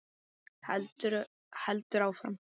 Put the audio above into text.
Heldur áfram: